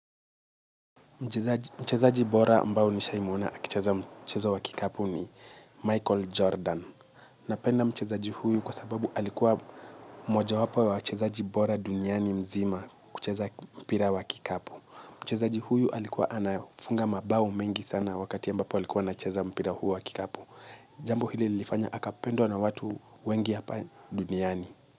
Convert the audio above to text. Mchezaji bora ambao nishaimona akicheza mchezo wa kikapu ni Michael Jordan. Napenda mchezaji huyu kwa sababu alikuwa mmoja wapo wa wachezaji bora duniani mzima kucheza mpira wa kikapu. Mchezaji huyu alikuwa anafunga mabao mengi sana wakati ya mbapo alikuwa nacheza mpira huu wa kikapu. Jambo hili ilifanya akapendwa na watu wengi hapa duniani.